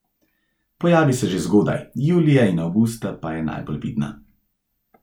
Pojavi se že zgodaj, julija in avgusta pa je najbolj vidna.